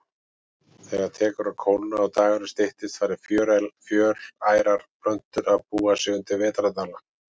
Þegar tekur að kólna og dagurinn styttist fara fjölærar plöntur að búa sig undir vetrardvalann.